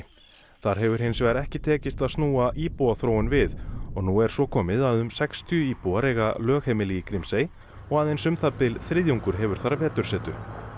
þar hefur hins vegar ekki tekist að snúa íbúaþróun við og nú er svo komið að um sextíu íbúar eiga lögheimili í Grímsey og aðeins um það bil þriðjungur hefur þar vetursetu